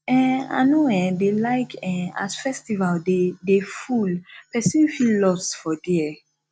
um i no um dey like um as festival dey dey full pesin fit loss for there